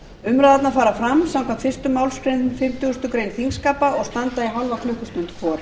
umræðurnar fara fram samkvæmt fyrstu málsgrein fimmtugustu grein þingskapa og standa í hálfa klukkustund vor